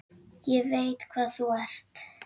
Ég veit hvað þú ert.